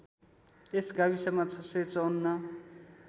यस गाविसमा ६५४